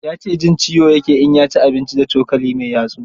Ya ce jin ciyo ya ke in ya ci abinci da cokali mai yatsu.